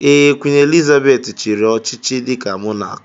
Ee, Queen Elizabeth chiri ọchịchị dika mọnak